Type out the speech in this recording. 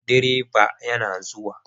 Direban yana zuwa.